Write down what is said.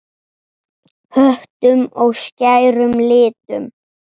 Höttum og skærum litum.